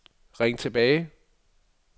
ring tilbage